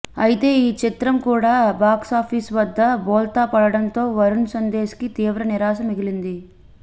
అయితే ఈ చిత్రం కూడా బాక్సాఫీస్ వద్ద బోల్తా పడడంతో వరుణ్ సందేశ్ కి తీవ్ర నిరాశ మిగిలింది